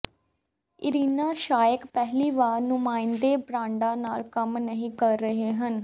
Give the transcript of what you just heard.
Irina Shayk ਪਹਿਲੀ ਵਾਰ ਨੁਮਾਇੰਦੇ ਬ੍ਰਾਂਡਾਂ ਨਾਲ ਕੰਮ ਨਹੀਂ ਕਰ ਰਹੇ ਹਨ